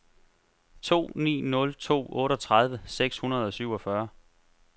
to ni nul to otteogtredive seks hundrede og syvogfyrre